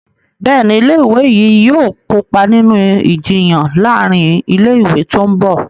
Béèni ilé ìwé yí yóò kópa nínú Ìjiyàn láàrin ilé ìwé tó ńbo.